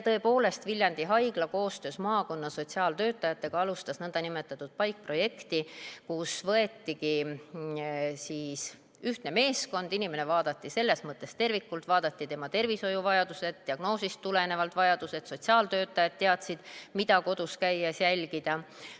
Tõepoolest, Viljandi Haigla koostöös maakonna sotsiaaltöötajatega alustas nõndanimetatud PAIK-projekti, kus võetigi ühtne meeskond, inimest vaadati kui tervikut: vaadati üle tema tervishoiuvajadused, diagnoosist tulenevalt vajadused, sotsiaaltöötajad teadsid, mida kodus käies jälgida.